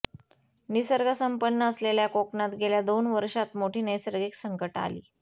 निसर्ग संपन्न असलेल्या कोकणात गेल्या दोन वर्षांत मोठी नैसर्गिक संकटं आली